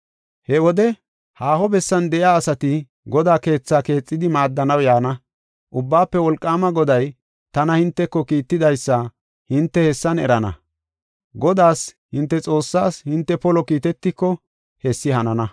He wode haaho bessan de7iya asati Godaa keetha keexidi maaddanaw yaana. Ubbaafe Wolqaama Goday tana hinteko kiittidaysa hinte hessan erana. Godaas, hinte Xoossaas hinte polo kiitetiko hessi hanana.